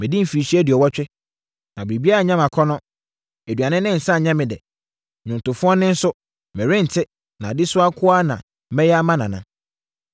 Madi mfirinhyia aduɔwɔtwe, na biribiara nyɛ me akɔnnɔ. Aduane ne nsã nyɛ me dɛ. Nnwontofoɔ nne so, merente na adesoa nko ara na mɛyɛ ama Nana.